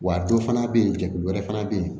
Wa dɔ fana bɛ yen jɛkulu wɛrɛ fana bɛ yen